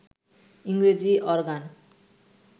ইংরেজি অরগ্যান